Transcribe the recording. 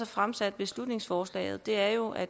fremsat beslutningsforslaget er jo at